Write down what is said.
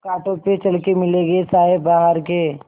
कांटों पे चल के मिलेंगे साये बहार के